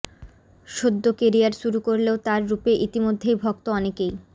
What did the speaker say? সদ্য কেরিয়ার শুরু করলেও তাঁর রূপে ইতিমধ্য়েই ভক্ত অনেকেই